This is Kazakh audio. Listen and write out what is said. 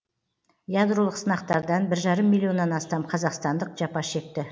ядролық сынақтардан бір жарым миллионнан астам қазақстандық жапа шекті